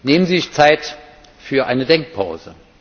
Nehmen Sie sich die Zeit für eine Denkpause!